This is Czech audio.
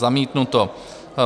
Zamítnuto.